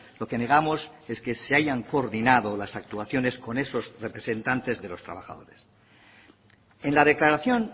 lo que negamos es que se hayan coordinado las actuaciones con esos representantes de los trabajadores en la declaración